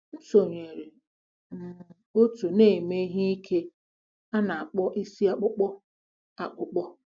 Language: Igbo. M sonyeere um òtù na-eme ihe ike a na-akpọ isi akpụkpọ akpụkpọ.